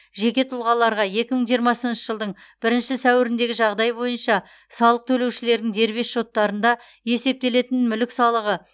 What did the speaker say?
жеке тұлғаларға екі мың жиырмасыншы жылдың бірінші сәуіріндегі жағдай бойынша салық төлеушілердің дербес шоттарында есептелетін мүлік салығы